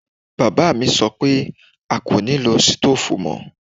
Bàbá mi sọ pé a kò nilo stoofu mọ.